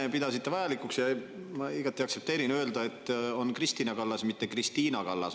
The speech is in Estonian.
Te pidasite enne vajalikuks öelda – ma igati aktsepteerin seda –, et on Kristina Kallas, mitte Kristiina Kallas.